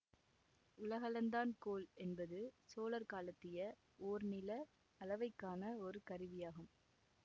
உலகளந்தான் கோல் என்பது சோழர் காலத்திய ஓர் நில அளவைக்கான ஒரு கருவியாகும்